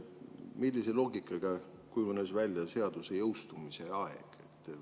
Millise loogikaga kujunes välja seaduse jõustumise aeg?